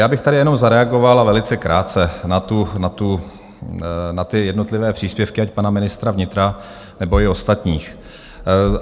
Já bych tady jenom zareagoval, a velice krátce, na ty jednotlivé příspěvky, ať pana ministra vnitra, nebo i ostatních.